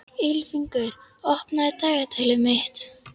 Ylfingur, opnaðu dagatalið mitt.